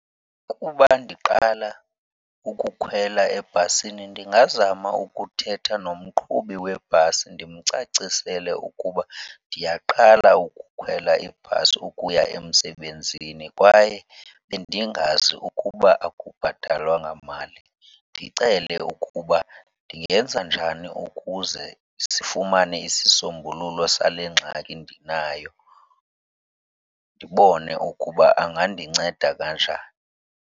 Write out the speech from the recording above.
Ukuba ndiqala ukukhwela ebhasini ndingazama ukuthetha nomqhubi webhasi ndimcacisele ukuba ndiyaqala ukukhwela ibhasi ukuya emsebenzini kwaye bendingazi ukuba akubhatalwa ngamali. Ndicele ukuba ndingenza njani ukuze sifumane isisombululo sale ngxaki ndinayo, ndibone ukuba angandinceda kanjani.